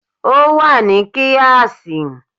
Ó wà ní kíáàsì